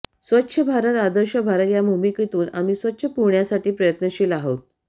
स्वच्छ भारत आदर्श भारत या भूमिकेतून आम्ही स्वच्छ पुण्यासाठी प्रयत्नशील आहोत